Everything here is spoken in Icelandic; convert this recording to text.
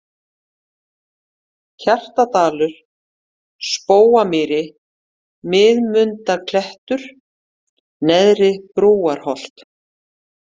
Hjaltadalur, Spóamýri, Miðmundaklettur, Neðra-Brúarholt